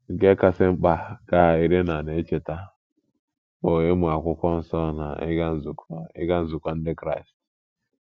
“ Nke kasị mkpa, ” ka Irena na - echeta, “ bụ ịmụ akwụkwọ nsọ na ịga nzukọ ịga nzukọ Ndị Kraịst. ”